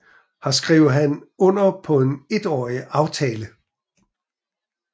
Her skrev han under på en etårig aftale